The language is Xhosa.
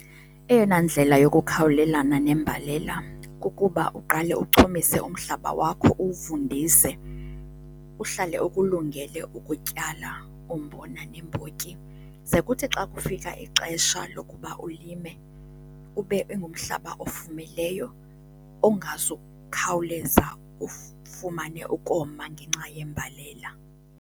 Eyona ndlela yokukhawulelana nembalela kukuba uqale uchumise umhlaba wakho, uwuvundise, uhlale ukulungele ukutyala umbona neembotyi. Ze kuthi xa kufika ixesha lokuba ulime ube ingumhlaba ofumileyo, ongazukukhawuleza ufumane ukoma ngenxa yembalela.